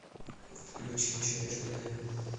включи че между нами